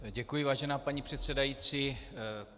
Děkuji, vážená paní předsedající.